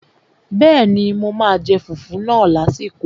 Bẹ́ẹ̀ni, mo máa jẹ fùfú náà lásìkò